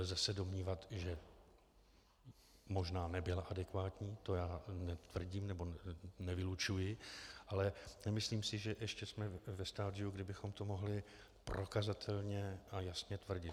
Lze se domnívat, že možná nebyla adekvátní, to netvrdím nebo nevylučuji, ale nemyslím si, že ještě jsme ve stadiu, kdy bychom to mohli prokazatelně a jasně tvrdit.